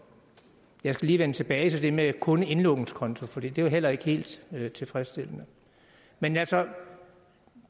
jeg skal lige vende tilbage til det med kun indlånskonto for det er jo heller ikke helt tilfredsstillende men altså